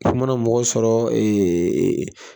I mana mɔgɔ sɔrɔ